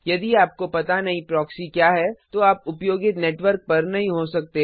यदि आपको पता नहीं प्रॉक्सी क्या है तो आप उपयोगित नेटवर्क पर नही हो सकते